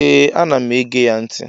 Ee anam ege ya nti